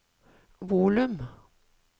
volum